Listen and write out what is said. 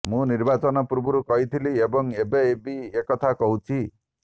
ମୁଁ ନିର୍ବାଚନ ପୂର୍ବରୁ କହିଥିଲି ଏବଂ ଏବେ ବି ଏକଥା କହୁଛି